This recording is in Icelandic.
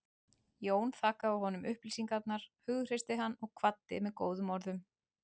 Jón þakkaði honum upplýsingarnar, hughreysti hann og kvaddi með góðum orðum.